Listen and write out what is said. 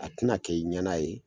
A tɛna kɛ i ɲɛna ye.